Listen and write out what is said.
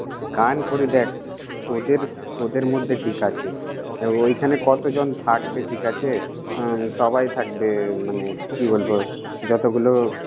গান করি দ্যাখ, তোদের তোদের মধ্যে ঠিক আছে। এ ওইখানে কতজন থাকবে, ঠিক আছে উম সবাই থাকবে মানে কি বলব, যতগুলো।